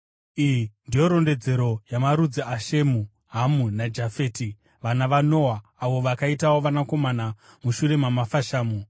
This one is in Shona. Iyi ndiyo rondedzero yamarudzi aShemu, Hamu naJafeti, vana vaNoa, avo vakaitawo vanakomana mushure mamafashamu.